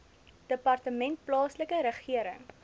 departement plaaslike regering